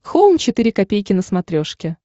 хоум четыре ка на смотрешке